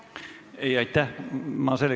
Ei, aitäh!